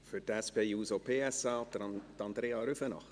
Für die SP-JUSO-PSA-Fraktion spricht Andrea Rüfenacht.